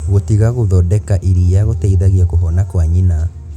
Gũtiga gũthondeka iria gũtĩteithagia kũhona kwa nyina.